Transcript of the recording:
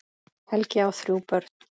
Helgi á þrjú börn.